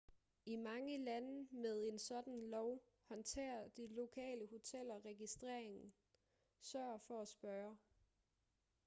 i mange lande med en sådan lov håndterer de lokale hoteller registreringen sørg for at spørge